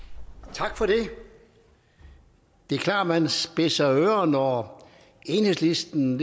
tak for det det er klart at man spidser ører når enhedslisten